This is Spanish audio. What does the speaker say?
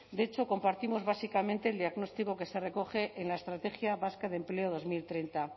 de hecho compartimos básicamente el diagnóstico que se recoge en la estrategia vasca de empleo dos mil treinta